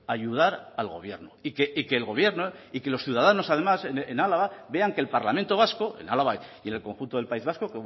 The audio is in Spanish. ayudar al gobierno y que el gobierno y que los ciudadanos además en álava vean que el parlamento vasco en álava y en el conjunto del país vasco